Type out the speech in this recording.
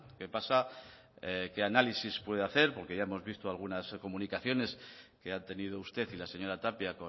qué pasa qué análisis puede hacer porque ya hemos visto algunas comunicaciones que ha tenido usted y la señora tapia